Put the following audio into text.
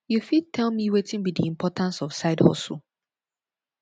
you fit tell me wetin be di importance of sidehustle